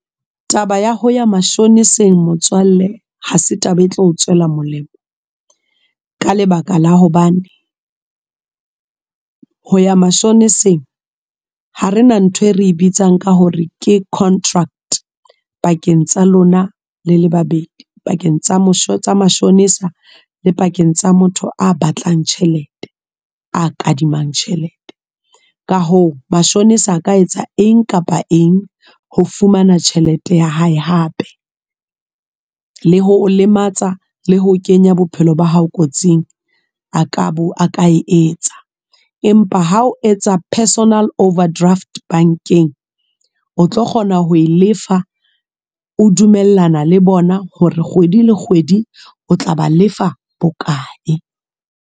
Taba ya ho ya mashoneseng motswalle, ha se taba e tlo o tswela molemo. Ka lebaka la hobane, ho ya mashoneseng. Ha rena ntho e re e bitsang ka hore ke contract, pakeng tsa lona lele babedi. Pakeng tsa mashonesa le pakeng tsa motho a batlang tjhelete, a kadimang tjhelete. Ka hoo mashome a ka etsa eng kapa eng, ho fumana tjhelete ya hae hape. Le ho o lematsa, le ho kenya bophelo ba hao kotsing, a ka bo, a ka e etsa. Empa ha o etsa personal overdraft bankeng. O tlo kgona ho e lefa, o dumellana le bona hore kgwedi le kgwedi o tla ba lefa bokae.